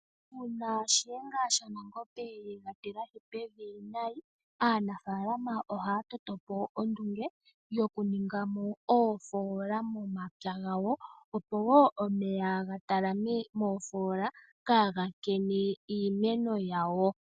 Uuna Nashenga shaNangombe ega tilahi pevi nayi aanafalama ohaya toto po ondunge okuninga oofola momapya gawo opo wo omeya gatalame moofola kaga nkene iimeno yawo.